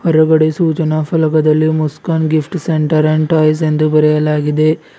ಹೊರಗಡೆ ಸೂಚನಾ ಫಲಕದಲ್ಲಿ Muskan gift centre and toys ಎಂದು ಬರೆಯಲಾಗಿದೆ.